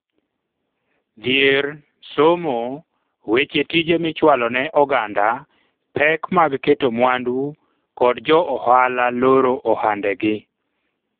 dhier, somo, weche tije michwalo ne oganda, pek mag keto mwandu kod jo ohala loro ohande gi